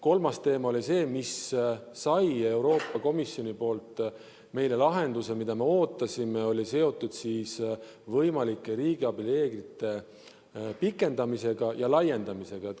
Kolmas teema, mis sai Euroopa Komisjoni abil lahenduse, mida me ootasime, oli seotud võimalike riigiabi reeglite pikendamise ja laiendamisega.